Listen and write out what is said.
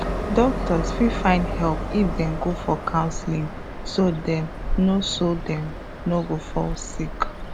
doctors fit find help if dem go for counseling so dem no so dem no go fall sick